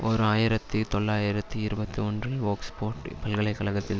ஓர் ஆயிரத்தி தொள்ளாயிரத்தி இருபத்தி ஒன்றில் ஒக்ஸ்போட் பல்கலை கழகத்தில்